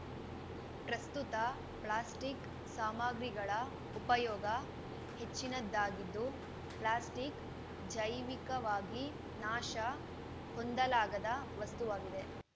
ಪ್ರಸ್ತುತ ಪ್ಲಾಸ್ಟಿಕ್‌ ಸಾಮಗ್ರಿಗಳ ಉಪಯೋಗ ಹೆಚ್ಚಿನದ್ದಾಗಿದ್ದು ಪ್ಲಾಸ್ಟಿಕ್‌ ಜೈವಿಕವಾಗಿ ನಾಶ ಹೊಂದಲಾಗದ ವಸ್ತುವಾಗಿದೆ